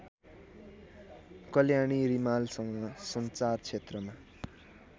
कल्याणी रिमालसँग सञ्चारक्षेत्रमा